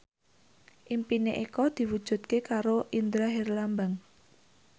impine Eko diwujudke karo Indra Herlambang